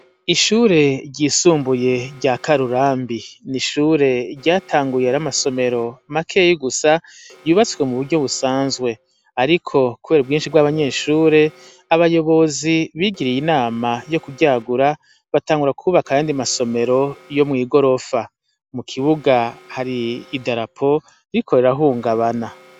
Ishuri ryisumbuye rya karurambi n'ishure ryatangure ar'amasomero makeya gusa yubatswe m'uburyo busanzwe. Ariko kuber'ubwinshi bw'abanyeshuri; abayobozii bigiriye inama yokuryagura batangura kwubaka ayandi masomero yomwigorofa. Mukibuga hari idarapo ririko rirahungabana.